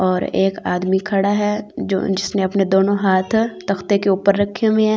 और एक आदमी खड़ा है जिसने अपने दोनों हाथ तख्ते के ऊपर रखे हुए है।